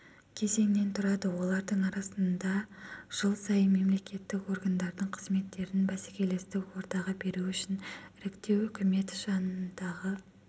кезеңнен тұрады олардың арасындажыл сайын мемлекеттік органдардың қызметтерін бәсекелестік ортаға беру үшін іріктеу үкімет жанындағы